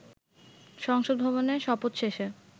সংসদ ভবনে, শপথ শেষে